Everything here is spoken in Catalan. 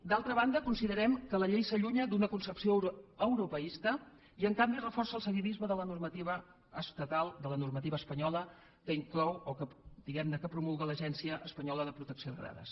d’altra banda considerem que la llei s’allunya d’una concepció europeista i en canvi reforça el seguidisme de la normativa estatal de la normativa espanyola que inclou o que diguem ne promulga l’agència espanyola de protecció de dades